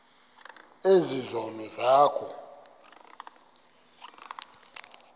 ezi zono zakho